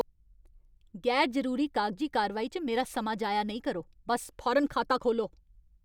गैर जरूरी कागजी कारवाई च मेरा समां जाया नेईं करो। बस्स फौरन खाता खोह्ल्लो!